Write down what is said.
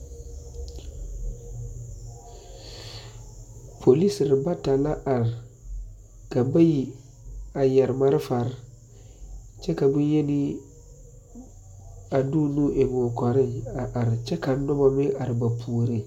Polisi bata la are ka bayi yɛre malfare kyɛ ka bonyeni a be o nu eŋ o kɔreŋ are kyɛ ka nobɔ meŋ are ba puoreŋ.